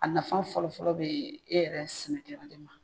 A nafa fɔlɔ fɔlɔ bee e yɛrɛ sɛnɛkɛla de ma